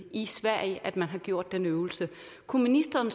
i sverige at man har gjort den øvelse kunne ministeren